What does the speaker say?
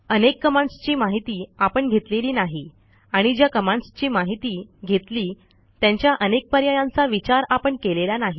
अनेक कमांडसची माहिती आपण घेतलेली नाही आणि ज्या कमांडसची माहिती घेतली त्यांच्या अनेक पर्यायांचा विचार आपण केलेला नाही